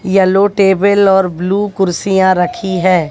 Yellow table और blue कुर्सियां रखी हैं।